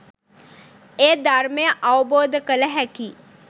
එය ධර්මය අවබෝධ කළ හැකි